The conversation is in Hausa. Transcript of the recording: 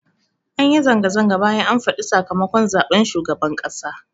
Anyi zanga-zanga bayan an faɗa sakamakon zaɓen shugaban ƙasa